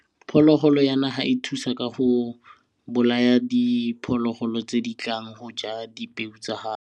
Phologolo ya naga e thusa ka go bolaya diphologolo tse di tlang go ja dipeo tsa gago.